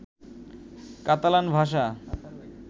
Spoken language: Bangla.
কাতালান ভাষা